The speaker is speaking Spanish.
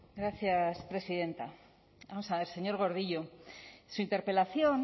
gracias presidenta vamos a ver señor gordillo su interpelación